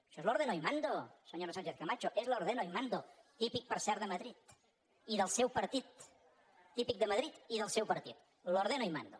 això és l’ ordeno y mando senyora sánchezcamacho és l’ ordeno y mando típic per cert de madrid y del seu partit típic de madrid i del seu partit l’ ordeno y mando